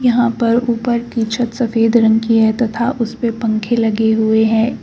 यहां पर ऊपर की छत सफेद रंग की है तथा उसपे पंखे लगे हुए है।